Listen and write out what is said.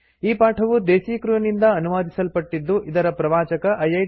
ಈ ಪಾಠವು ದೇಸೀ ಕ್ರ್ಯೂ ನಿಂದ ಅನುವಾದಿಸಲ್ಪಟ್ಟಿದ್ದು ಇದರ ಪ್ರವಾಚಕ ಐಐಟಿ